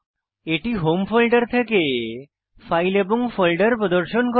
এটি home folder থেকে file এবং ফোল্ডার প্রদর্শন করে